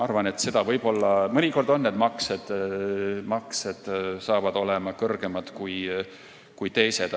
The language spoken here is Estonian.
Mõnikord võivad need maksed olla kõrgemad kui teised.